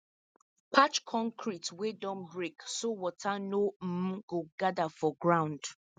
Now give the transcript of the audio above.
patch concrete wey don break so water no um go gather for ground